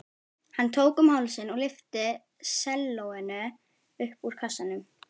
Hann tók um hálsinn og lyfti sellóinu upp úr kassanum.